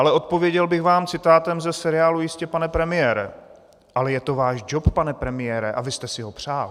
Ale odpověděl bych vám citátem ze seriálu Jistě, pane premiére: Ale je to váš džob, pane premiére, a vy jste si ho přál.